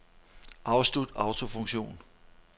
Afslut autofunktion.